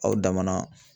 Aw dama na